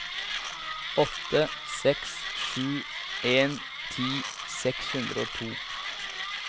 åtte seks sju en ti seks hundre og to